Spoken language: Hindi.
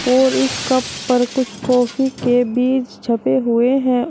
और इस कप पर कुछ कॉफी के बीज छपे हुए हैं।